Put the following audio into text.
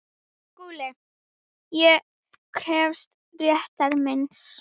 SKÚLI: Ég krefst réttar míns.